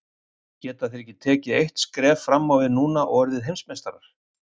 Geta þeir tekið eitt skref fram á við núna og orðið Heimsmeistarar?